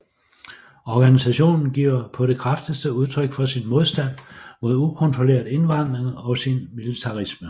Organisationen giver på det kraftigste udtryk for sin modstand mod ukontrolleret indvandring og sin militarisme